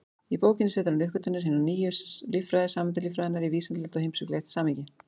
Í bókinni setur hann uppgötvanir hinnar nýju líffræði, sameindalíffræðinnar, í vísindalegt og heimspekilegt samhengi.